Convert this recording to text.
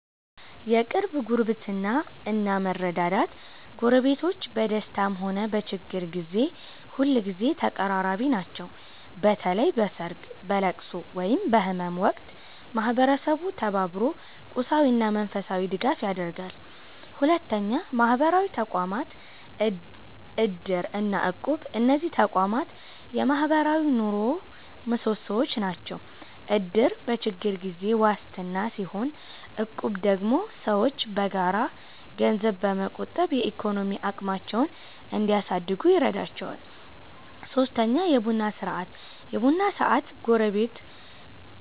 1. የቅርብ ጉርብትና እና መረዳዳት ጎረቤቶች በደስታም ሆነ በችግር ጊዜ ሁልጊዜ ተቀራራቢ ናቸው። በተለይ በሰርግ፣ በልቅሶ ወይም በህመም ወቅት ማህበረሰቡ ተባብሮ ቁሳዊና መንፈሳዊ ድጋፍ ያደርጋል። 2. ማህበራዊ ተቋማት (እድር እና እቁብ) እነዚህ ተቋማት የማህበራዊ ኑሮው ምሰሶዎች ናቸው። እድር በችግር ጊዜ ዋስትና ሲሆን፣ እቁብ ደግሞ ሰዎች በጋራ ገንዘብ በመቆጠብ የኢኮኖሚ አቅማቸውን እንዲያሳድጉ ይረዳቸዋል። 3. የቡና ስነ-ስርዓት የቡና ሰዓት